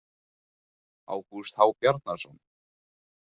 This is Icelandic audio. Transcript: Ágúst H Bjarnason.